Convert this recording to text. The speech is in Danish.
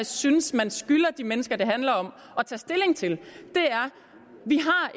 synes at man skylder de mennesker det handler om at tage stilling til